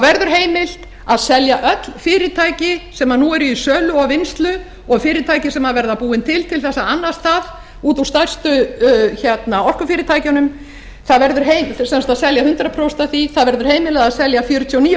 verður heimilt að selja öll fyrirtæki sem nú eru í sölu og vinnslu og fyrirtæki sem verða búin til þess að annast það út úr stærstu orkufyrirtækjunum sem sagt að selja hundrað prósent af því það verður heimilað að selja fjörutíu og níu